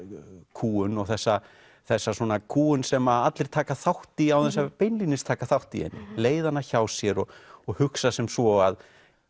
kúgun og þessa þessa svona kúgun sem allir taka þátt í án þess að beinlínis taka þátt í henni leiða hana hjá sér og og hugsa sem svo að